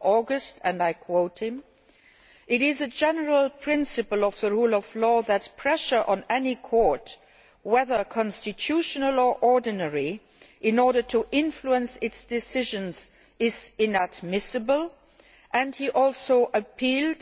August and I quote it is a general principle of the rule of law that pressure on any court, whether constitutional or ordinary, in order to influence its decisions, is inadmissible' and he also appealed